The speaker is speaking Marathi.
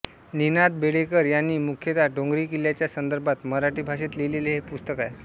निनाद बेडेकर यांनी मुख्यत डोंगरी किल्ल्यांच्या संदर्भात मराठी भाषेत लिहिलेले हे पुस्तक आहे